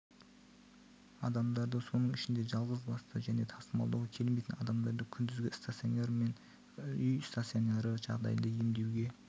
адамдарды соның ішінде жалғызбасты және тасымалдауға келмейтін адамдарды күндізгі стационар мен үй стационары жағдайында емдеуге